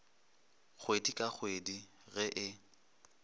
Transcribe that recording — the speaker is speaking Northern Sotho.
kgwedi ka kgwedi ge e